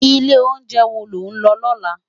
Ilé óunjè wó ló n lò lòlá?